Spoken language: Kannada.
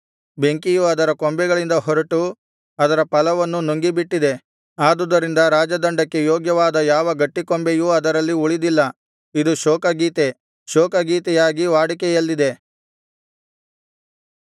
ಬೆಂಕಿಯು ಅದರ ಕೊಂಬೆಗಳಿಂದ ಹೊರಟು ಅದರ ಫಲವನ್ನು ನುಂಗಿ ಬಿಟ್ಟಿದೆ ಆದುದರಿಂದ ರಾಜದಂಡಕ್ಕೆ ಯೋಗ್ಯವಾದ ಯಾವ ಗಟ್ಟಿ ಕೊಂಬೆಯೂ ಅದರಲ್ಲಿ ಉಳಿದಿಲ್ಲ ಇದು ಶೋಕ ಗೀತೆ ಶೋಕ ಗೀತೆಯಾಗಿ ವಾಡಿಕೆಯಲ್ಲಿದೆ